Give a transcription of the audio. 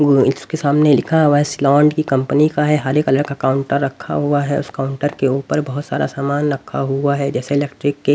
इसके सामने लिखा हुआ इस्लान की कंपनी का है हरे कलर का काउंटर रखा हुआ है उस काउंटर के ऊपर बहोत सारा सामान लक्खा हुआ है जैसे इलेक्ट्रिक की--